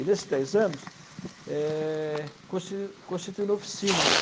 E nesses dez anos, é, consti constituí oficinas.